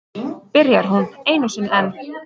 Byrjar hún einu sinni enn.